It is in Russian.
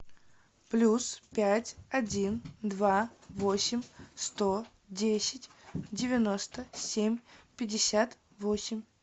плюс пять один два восемь сто десять девяносто семь пятьдесят восемь